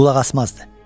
Qulaq asmazdı.